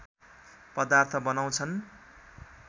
पदार्थ बनाउँछन्